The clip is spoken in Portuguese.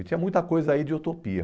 E tinha muita coisa aí de utopia.